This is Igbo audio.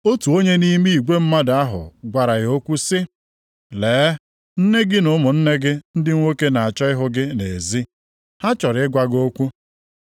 Otu onye nʼime igwe mmadụ ahụ gwara ya okwu sị, “Lee, nne gị na ụmụnne gị ndị nwoke na-achọ ịhụ gị nʼezi. Ha chọrọ ịgwa gị okwu.”